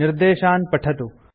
निर्देशान् पठतु